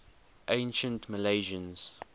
ancient milesians